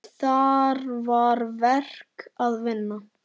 Þar var verk að vinna.